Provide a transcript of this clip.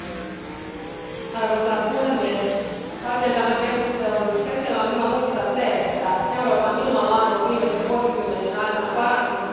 Arvoisa puhemies, kaiken tämän keskustelun keskellä on hyvä muistaa, että Euroopan ilmanlaatu on viimeisten vuosikymmenien aikana parantunut merkittävästi.